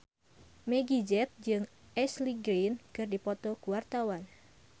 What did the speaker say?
Meggie Z jeung Ashley Greene keur dipoto ku wartawan